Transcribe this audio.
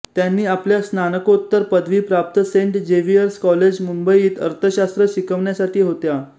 त्यांनी आपल्या स्नातकोत्तर पदवी प्राप्त सेंट जेवियर्स कॉलेजमुंबईत अर्थशास्र् शिकवण्यासाठी होत्या